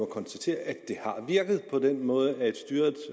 konstatere at de har virket på den måde at styret